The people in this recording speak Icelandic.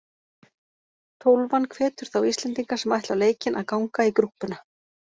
Tólfan hvetur þá Íslendinga sem ætla á leikinn að ganga í grúppuna.